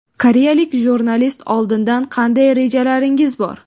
Koreyalik jurnalist: Oldinda qanday rejalaringiz bor?